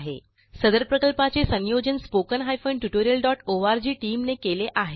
सदर प्रकल्पाचे संयोजन spoken tutorialओआरजी टीम ने केले आहे